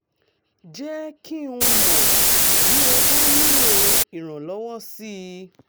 jẹ́ kí n mọ̀ bí o bá nílò ìrànlọ́wọ́ sí i